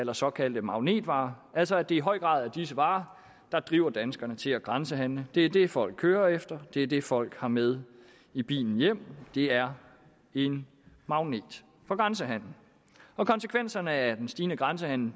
er såkaldte magnetvarer altså at det i høj grad er disse varer der driver danskerne til at grænsehandle det er de varer folk kører efter og det er de varer folk har med i bilen hjem de er en magnet for grænsehandelen konsekvenserne af den stigende grænsehandel